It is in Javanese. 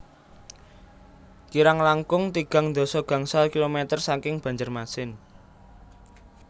Kirang langkung tigang dasa gangsal kilometer saking Banjarmasin